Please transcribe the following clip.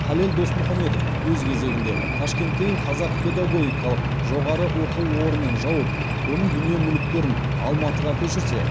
халел досмұхамедов өз кезегінде ташкенттегі қазақ педагогикалық жоғары оқу орнын жауып оның дүние мүліктерін алматыға көшірсе